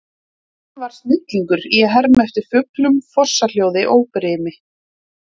Hann var snillingur í að herma eftir fuglum, fossahljóði og brimi.